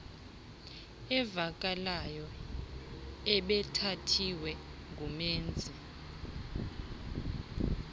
avakalayo ebethathiwe ngumenzi